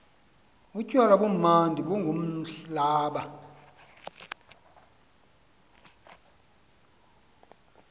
utywala bumnandi bungumblaba